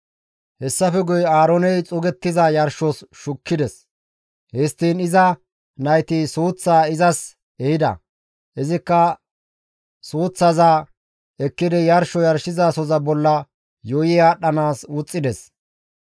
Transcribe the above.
Hessafe guye Aarooney xuugettiza yarshos shukkides; histtiin iza nayti suuththaa izas ehida; izikka suuththaza ekkidi yarsho yarshizasoza bolla yuuyi aadhdhanaas wuxxides.